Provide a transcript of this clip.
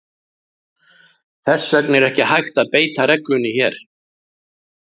Þess vegna er ekki hægt að beita reglunni hér.